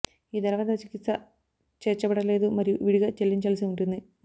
ఈ ధర వద్ద చికిత్స చేర్చబడలేదు మరియు విడిగా చెల్లించాల్సి ఉంటుంది